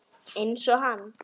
Einsog hann.